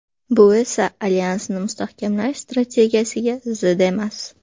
Bu esa alyansni mustahkamlash strategiyasiga zid emas.